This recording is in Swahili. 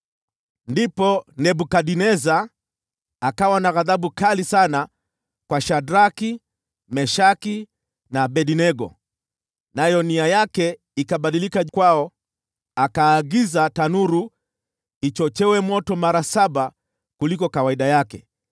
Ndipo Nebukadneza akawa na ghadhabu kali sana kwa Shadraki, Meshaki na Abednego, nayo nia yake ikabadilika kwao. Akaagiza tanuru ichochewe moto mara saba kuliko kawaida yake